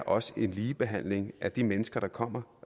også er ligebehandling af de mennesker der kommer